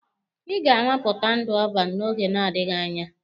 Ị ga-anwapụta ndụ ọban n'oge na-adịghị anya!